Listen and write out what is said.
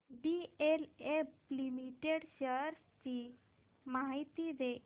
DLF limited shares ची माहिती दे